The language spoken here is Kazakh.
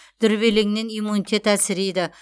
дүрбелеңнен иммунитет әлсірейді